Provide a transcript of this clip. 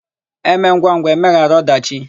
E mee ngwangwa, e meghara ọdachị.